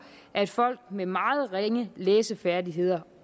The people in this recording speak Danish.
at folk med meget ringe læsefærdigheder